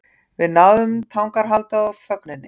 Við náðum tangarhaldi á þögninni.